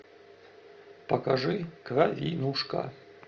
покажи кровинушка